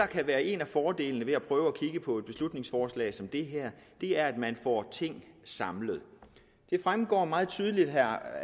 kan være en af fordelene ved at prøve at kigge på et beslutningsforslag som det her er at man får ting samlet det fremgår meget tydeligt af herre